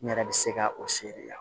N yɛrɛ bɛ se ka o seri yan